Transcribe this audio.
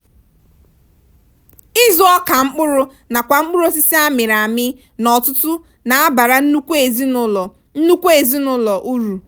ịzụ ọka mkpụrụ nakwa mkpụrụosisi amịrị amị n'ọtụtụ na-abara nnukwu ezinụlọ nnukwu ezinụlọ uru.